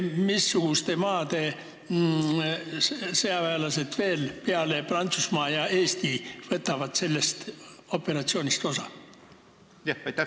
Mis maade sõjaväelased peale Prantsusmaa ja Eesti sellest operatsioonist osa võtavad?